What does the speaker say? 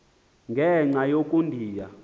ngenxa yoko ndiya